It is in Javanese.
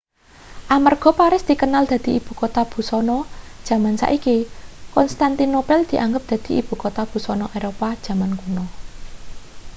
amarga paris dikenal dadi ibukota busana jaman saiki konstantinopel dianggep dadi ibukota busana eropa jaman kuno